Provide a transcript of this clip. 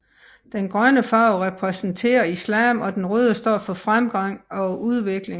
Den grønne farve repræsenterer islam og den røde står for fremgang og udvikling